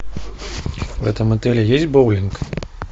в этом отеле есть боулинг